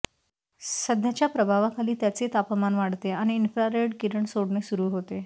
सध्याच्या प्रभावाखाली त्याचे तापमान वाढते आणि इन्फ्रारेड किरण सोडणे सुरू होते